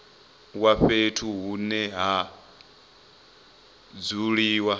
wa fhethu hune ha dzuliwa